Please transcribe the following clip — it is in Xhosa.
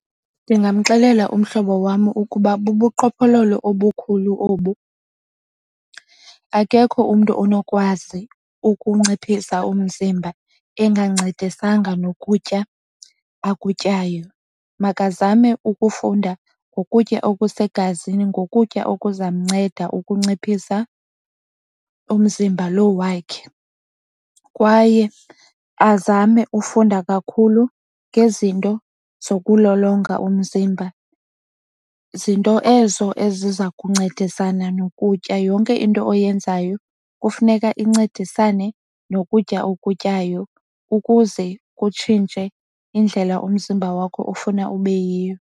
Ndingamxelela umhlobo wam ukuba bubuqhophololo obukhulu obu akekho umntu onokwazi ukunciphisa umzimba enganciphisanga nokutya akutyayo. Makazame ukufunda ngokutya okusegazini ngokutya okuza mnceda ukunciphisa umzimba lo wakhe. Kwaye azame ufunda kakhulu ngezinto zokulolonga umzimba, zinto ezo eziza kuncedisana nokutya. Yonke into oyenzayo kufuneka incedisane nokutya okutyayo ukuze itshintshwe indlela umzimba wakho ofuna uba yiyo.